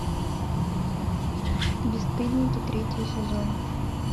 бесстыдники третий сезон